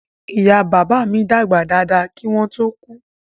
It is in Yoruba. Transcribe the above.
Ìyá bàbá mi dàgbà dáadáa kí wọ́n ó tó kú